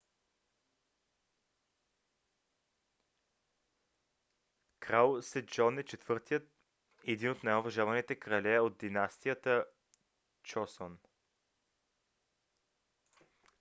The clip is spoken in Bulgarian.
крал седжон е четвъртият и един от най-уважаваните крале от династията чосон